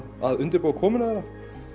að undirbúa komuna þeirra